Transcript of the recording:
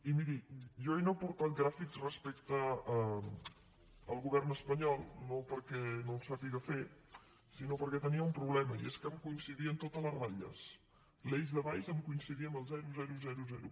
i miri jo no he portat gràfics respecte al govern espanyol no perquè no en sàpiga fer sinó perquè tenia un problema i és que m’hi coincidien totes les ratlles l’eix de baix em coincidia amb el zero zero zero zero